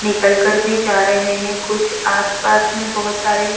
निकल कर भी जा रहे हैं कुछ आस पास में बहुत सारे --